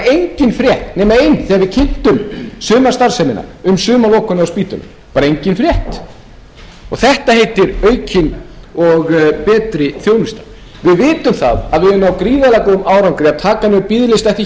sumarstarfsemina um sumarlokun á spítölum bara engin frétt þetta heitir aukin og betri þjónusta við vitum að við höfum náð gríðarlega góðum árangri við að taka niður biðlista eftir